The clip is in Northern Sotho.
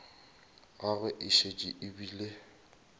gagwe e šetše e bile